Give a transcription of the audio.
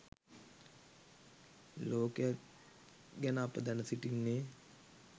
ලෝකයත් ගැන අප දැන සිටින්නේ